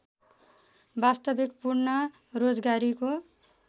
वास्तविक पूर्ण रोजगारीको